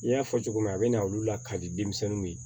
I y'a fɔ cogo min a be na olu la kadi denmisɛnninw ye